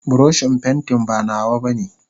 buroshin pantin ba nawa bane.